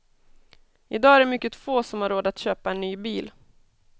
I dag är det mycket få som har råd att köpa en ny bil.